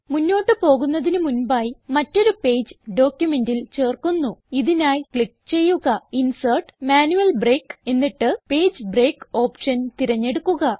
ഇതിനായി ക്ലിക്ക് ചെയ്യുക ഇൻസെർട്ട് ജിടിജിടി മാന്യുയൽ ബ്രേക്ക് എന്നിട്ട് പേജ് ബ്രേക്ക് ഓപ്ഷൻ തിരഞ്ഞെടുക്കുക